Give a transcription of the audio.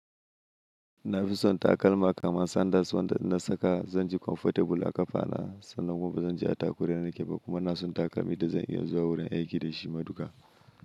Na fi son takalma kamar sandals wanda na saka zan ji comfortable a kafa na, sannan kuma zan ji atakura yana kyau kuma na son takalmi da zan iya zuwa wurin aiki da shi maduka.